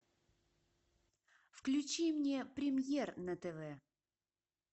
включи мне премьер на тв